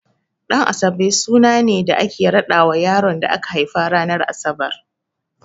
Ɗan'asabe suna ne da ake raɗawa yaron da aka haifa ranar Asabar.